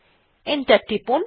enter টিপুন